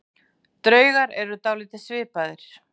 Draugar eru dálítið svipaðir.